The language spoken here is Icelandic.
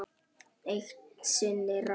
Eitt sinn rann